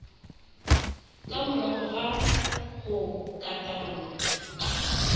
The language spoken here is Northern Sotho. ka morago ga go katana